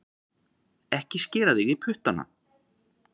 Ekki skera þig í puttana